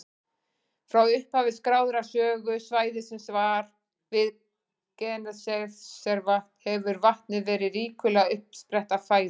Frá upphafi skráðrar sögu svæðisins við Genesaretvatn hefur vatnið verið ríkuleg uppspretta fæðu.